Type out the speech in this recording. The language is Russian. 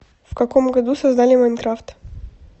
в каком году создали майнкрафт